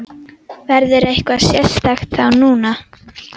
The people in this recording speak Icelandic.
Verður eitthvað sérstakt þá núna?